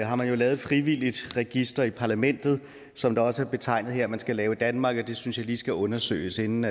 har man jo lavet et frivilligt register i parlamentet som det også er betegnet her at man skal lave i danmark og det synes jeg lige skal undersøges inden